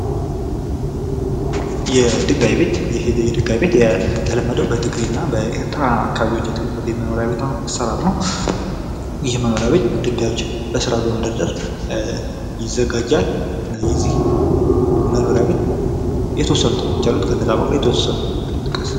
የድጋይ ቤት ይህ የድጋይ ቤት የተለመደው በትግሬና በኤርትራ አካባቢዎች የተለመደ የመኖርያ ቤት አሰራር ነው። ይህ መኖርያ ቤት ድጋዮችን በስራት በመደርደር ይዘጋጃል። እና የዚህ መኖርያ ቤትየተወሰኑት አሉ የተወሰኑትን ጥቀስ።